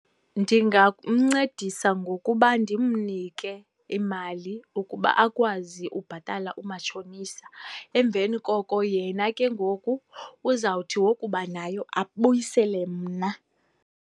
Ndingamncedisa ngokuba ndimnike imali ukuba akwazi ubhatala umatshonisa. Emveni koko yena ke ngoku uzawuthi wokuba nayo abuyisele mna.